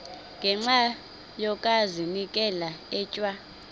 ngenxa yokazinikela etywa